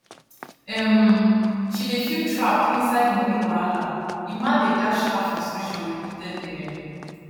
um she dey feel trapped inside moni wahala emma dey dash her frustration repeatedly um